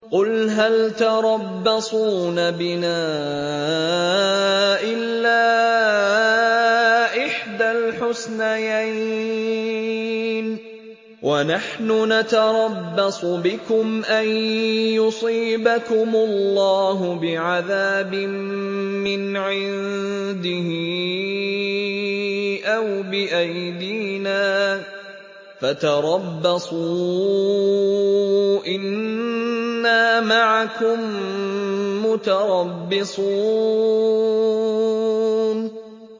قُلْ هَلْ تَرَبَّصُونَ بِنَا إِلَّا إِحْدَى الْحُسْنَيَيْنِ ۖ وَنَحْنُ نَتَرَبَّصُ بِكُمْ أَن يُصِيبَكُمُ اللَّهُ بِعَذَابٍ مِّنْ عِندِهِ أَوْ بِأَيْدِينَا ۖ فَتَرَبَّصُوا إِنَّا مَعَكُم مُّتَرَبِّصُونَ